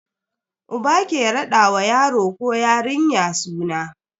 Uba ke rada wa yaro ko yarinya suna.